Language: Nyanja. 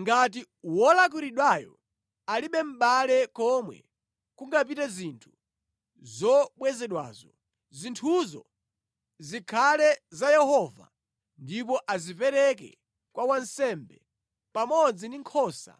Ngati wolakwiridwayo alibe mʼbale komwe kungapite zinthu zobwezedwazo, zinthuzo zikhale za Yehova ndipo azipereke kwa wansembe, pamodzi ndi nkhosa